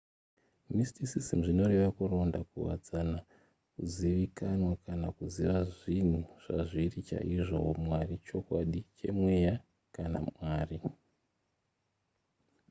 mysticism zvinoreva kuronda kuwadzana kuzivikanwa kana kuziva zvinhu zvazviri chaizvo humwari chokwadi chemweya kana mwari